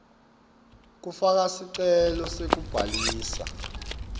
kufaka sicelo sekubhalisa